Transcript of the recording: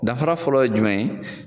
Dafara fɔlɔ ye jumɛn ye